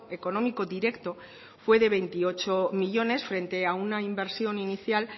económico directo fue de veintiocho millónes frente a una inversión inicial